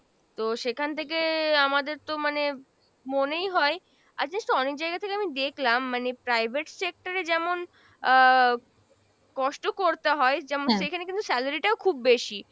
তো সেখান থেকে আমাদের তো মানে মনেই হয়, আর জানিস তো অনেক জায়গা থেকে আমি দেখলাম মানে private sector এ যেমন আহ কষ্ট করতে হয় যেমন সেখানে কিন্তু salary টাও খুব বেশি।